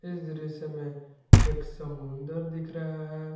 इस दृश्य में एक समुंदर दिख रहा है।